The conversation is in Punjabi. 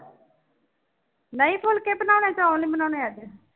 ਨਹੀਂ ਫੁਲਕੇ ਬਣਾਉਣੇ ਚੋਲ ਨੀ ਬਣਾਉਣੇ ਅੱਜ।